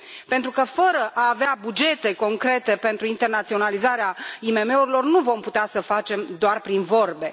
Pentru că, fără a avea bugete concrete pentru internaționalizarea IMM urilor, nu vom putea să facem doar prin vorbe.